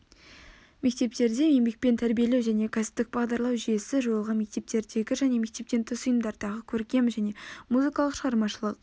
мектептерде еңбекпен тәрбиелеу және кәсіптік бағдарлау жүйесі жойылған мектептердегі және мектептен тыс ұйымдардағы көркем және музыкалық шығармашылық